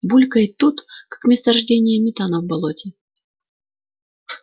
булькает тут как месторождение метана в болоте